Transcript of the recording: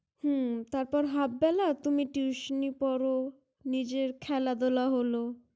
হম তারপর Half বেলা তুমি Tution ই পড়, নিজের খেলাধুলা হল ।